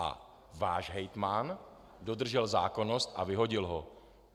A váš hejtman dodržel zákonnost a vyhodil ho.